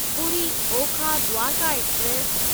Puri Okha Dwarka express